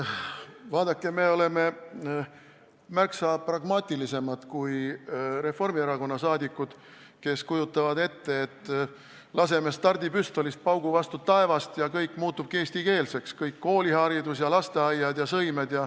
Vaadake, me oleme märksa pragmaatilisemad kui Reformierakonna saadikud, kes kujutavad ette, et laseme stardipüstolist paugu vastu taevast, ja kõik muutubki eestikeelseks, kogu kooliharidus ja kõik lasteaiad ja sõimed.